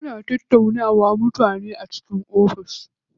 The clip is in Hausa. Ana tattaunawa da mutane a cikin ofis.